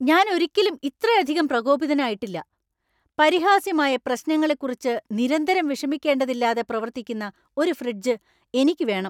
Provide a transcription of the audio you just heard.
ഞാൻ ഒരിക്കലും ഇത്രയധികം പ്രകോപിതനായിട്ടില്ല. പരിഹാസ്യമായ പ്രശ്നങ്ങളെക്കുറിച്ച് നിരന്തരം വിഷമിക്കേണ്ടതില്ലാതെ പ്രവർത്തിക്കുന്ന ഒരു ഫ്രിഡ്ജ് എനിക്ക് വേണം!